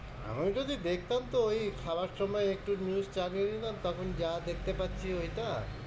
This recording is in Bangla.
আমি যদি দেখতাম ওই খাবার সময় একটু news চালিয়ে দিতাম তখন যা দেখতে পারছি ঐটা।